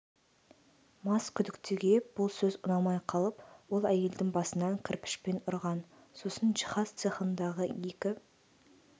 мас күдіктіге бұл сөз ұнамай қалып ол әйелдің басынан кірпішпен ұрған сосын жиһаз цехындағы екі